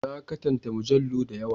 Na katanta mujallu da yawa.